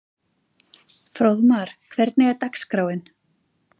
Fróðmar, hvernig er dagskráin?